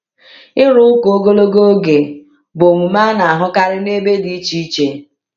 Ịrụ ụka ogologo oge bụ omume a na-ahụkarị n’ebe dị iche iche.